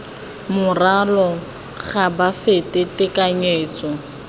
morwalo ga bo fete tekanyetso